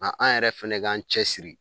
Ŋa an yɛrɛ fɛnɛ k'an cɛ siri